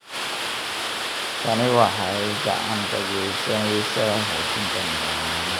Tani waxay gacan ka geysaneysaa xoojinta nidaamyada.